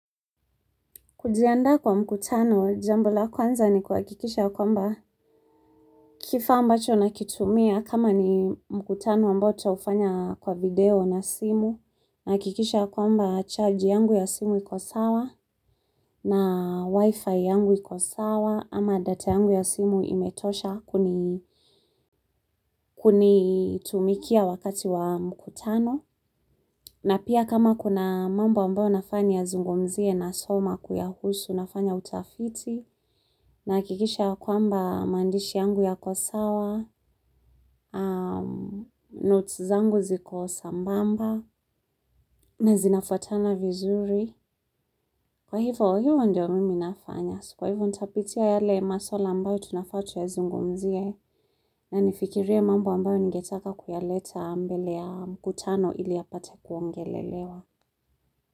Kujiandaa kwa mkutano, jambo la kwanza ni kuhakikisha kwamba kifaa ambacho nakitumia kama ni mkutano ambao nitaufanya kwa video na simu, nahakikisha kwamba charge yangu ya simu iko sawa. Na wifi yangu ikosawa ama data yangu ya simu imetosha kunitumikia wakati wa mkutano. Na pia kama kuna mambo ambayo nafaa niyazungumzie nasoma kuyahusu nafanya utafiti nahakikisha ya kwamba maandishi yangu yako sawa, notes zangu ziko sambamba na zinafatana vizuri. Kwa hivyo, hivyo ndio mimi nafanya. Kwa hivyo, nitapitia yale maswala ambayo tunafaa tuyazungumzie na nifikirie mambo ambayo ningetaka kuyaleta mbele ya mkutano ili yapate kuongelelewa.